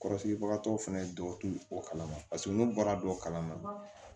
Kɔrɔsigibagatɔw fɛnɛ dɔw tɛ o kala ma paseke n'u bɔra dɔ kalan na